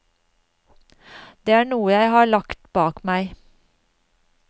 Det er noe jeg har lagt bak meg.